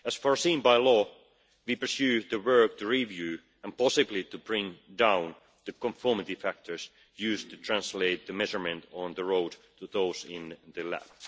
As foreseen by law, we pursue work to review, and possibly to bring down, the conformity factors used to translate the measurements on the road to those in the lab.